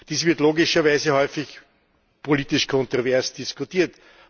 Dies wird logischerweise häufig politisch kontrovers diskutiert.